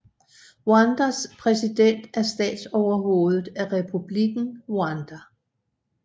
Rwandas præsident er statsoverhovedet af Republikken Rwanda